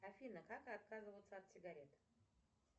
афина как отказываться от сигарет